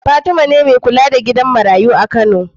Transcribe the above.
Fatima ce me kula da gidan marayu a kano